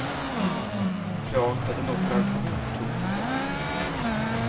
Klart att en operation tog på krafterna.